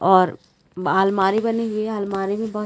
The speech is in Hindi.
और ब अलमारी बनी हुई है अलमारी में बहोत --